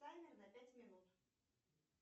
таймер на пять минут